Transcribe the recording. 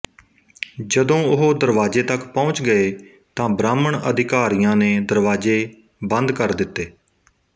ਜਦੋਂ ਉਹ ਦਰਵਾਜ਼ੇ ਤੱਕ ਪਹੁੰਚ ਗਏ ਤਾਂ ਬ੍ਰਾਹਮਣ ਅਧਿਕਾਰੀਆਂ ਨੇ ਦਰਵਾਜ਼ੇ ਬੰਦ ਕਰ ਦਿੱਤੇ